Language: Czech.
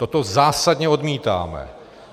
Toto zásadně odmítáme.